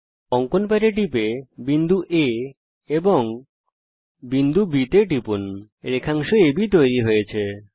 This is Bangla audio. অঙ্কন প্যাড এ ক্লিক করুন বিন্দু A এবং তারপর বিন্দু B টিপুন রেখাংশ আব তৈরী হয়ে গেছে